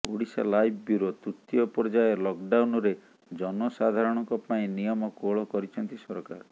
Odisha live bureau ତୃତୀୟ ପର୍ଯ୍ୟାୟ ଲକ୍ଡାଉନ୍ରେ ଜନସାଧାରଣଙ୍କ ପାଇଁ ନିୟମ କୋହଳ କରିଛନ୍ତି ସରକାର